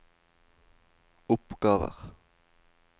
oppgaver